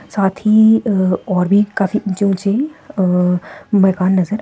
साथ ही अ और भी काफी ऊंचे ऊंची अ मकान नजर--